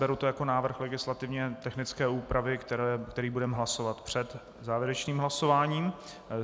Beru to jako návrh legislativně technické úpravy, který budeme hlasovat před závěrečným hlasováním.